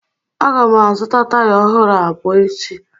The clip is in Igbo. A ga m azụta taya ọhụrụ abụọ echi